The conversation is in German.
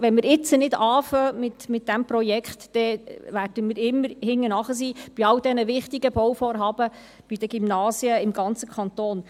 Wenn wir jetzt nicht mit diesem Projekt beginnen, werden wir immer bei all den wichtigen Bauvorhaben und den ganzen Gymnasien im Kanton im Verzug sein.